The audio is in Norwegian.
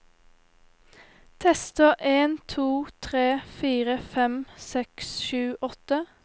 Tester en to tre fire fem seks sju åtte